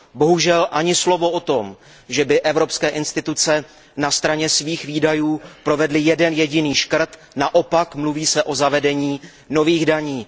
Bohužel ani slovo o tom, že by evropské instituce na straně svých výdajů provedly jeden jediný škrt, naopak mluví se o zavedení nových daní.